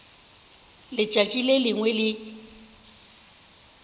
letšatši le lengwe le le